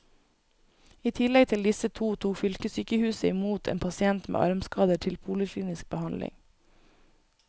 I tillegg til disse to tok fylkessykehuset i mot en pasient med armskader til poliklinisk behandling.